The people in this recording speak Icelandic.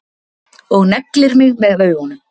Og neglir mig með augunum.